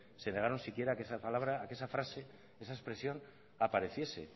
se negaron siquiera a que esa palabra esa frase esa expresión apareciese